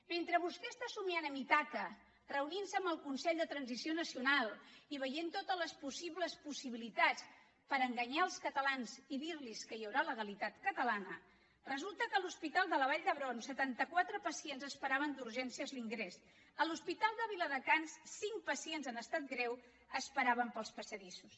mentre vostè està somiant en ítaca reunint se amb el consell per a la transició nacional i veient totes les possibles possibilitats per enganyar els catalans i dirlos que hi haurà legalitat catalana resulta que a l’hospital vall d’hebron setanta quatre pacients esperaven d’urgències l’ingrés a l’hospital de viladecans cinc pacients en estat greu esperaven pels passadissos